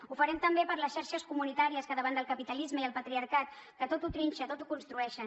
ho farem també per les xarxes comunitàries que davant del capitalisme i el patriarcat que tot ho trinxa tot ho construeixen